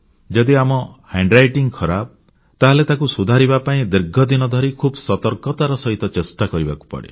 ଯଦି ଆମ ହାତଲେଖା ଖରାପ ତାହେଲେ ତାକୁ ସୁଧାରିବା ପାଇଁ ଦୀର୍ଘ ଦିନ ଧରି ଖୁବ୍ ସତର୍କତାର ସହିତ ଚେଷ୍ଟା କରିବାକୁ ପଡ଼େ